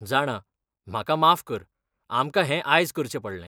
जाणां, म्हाका माफ कर, आमकां हें आयज करचें पडलें.